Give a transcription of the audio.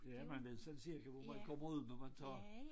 Ja men ved selv cirka hvor man har boet når man tager